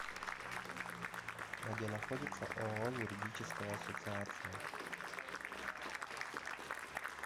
где находится ооо юридическая ассоциация